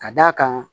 Ka d'a kan